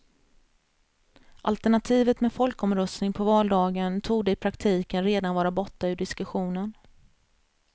Alternativet med folkomröstning på valdagen torde i praktiken redan vara borta ur diskussionen.